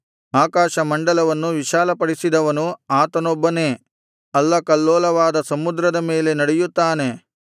ಆಕಾಶಮಂಡಲವನ್ನು ವಿಶಾಲಪಡಿಸಿದವನು ಆತನೊಬ್ಬನೇ ಅಲ್ಲಕಲ್ಲೋಲವಾದ ಸಮುದ್ರದ ಮೇಲೆ ನಡೆಯುತ್ತಾನೆ